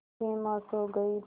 सिमा सो गई थी